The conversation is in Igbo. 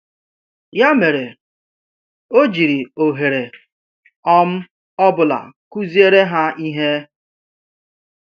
Ya mere, ọ jiri ohere um ọ bụla kụziere ha ihe.